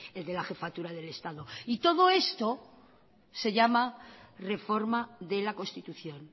el de la jefatura del estado y todo esto se llama reforma de la constitución